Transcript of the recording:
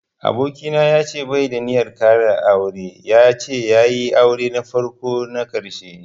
Aboki na bai da ninyar ƙara aure, ya ce ya yi aure na farko na ƙarshe.